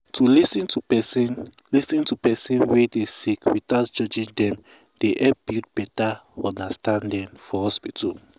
to lis ten to person lis ten to person wey dey sick without judging dem dey help build beta understanding for hospital.